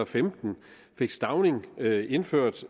femten fik stauning indført